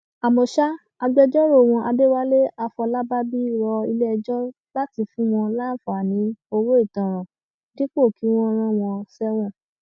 àmọ ṣá agbẹjọrò wọn adéwálé àfọlábàbí rọ iléẹjọ láti fún wọn láǹfààní owó ìtanràn dípò kí wọn rán wọn sẹwọn